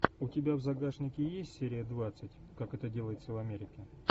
у тебя в загашнике есть серия двадцать как это делается в америке